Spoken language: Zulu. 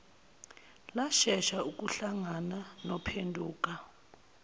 lashesha ukuhlangana nophenduka